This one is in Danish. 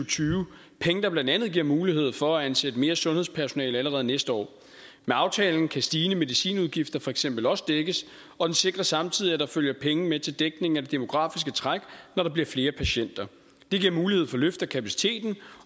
tyve penge der blandt andet giver mulighed for at ansætte mere sundhedspersonale allerede næste år med aftalen kan stigende medicinudgifter for eksempel også dækkes og den sikrer samtidig at der følger penge med til dækning af det demografiske træk når der bliver flere patienter det giver mulighed for et løft af kapaciteten